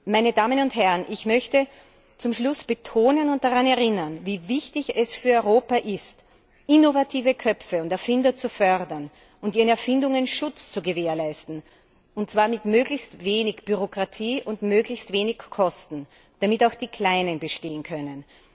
Meine Damen und Herren, ich möchte zum Schluss betonen und daran erinnern, wie wichtig es für Europa ist, innovative Köpfe und Erfinder zu fördern und ihren Erfindungen Schutz zu gewährleisten, und zwar mit möglichst wenig Bürokratie und möglichst wenig Kosten, damit auch die Kleinen bestehen können.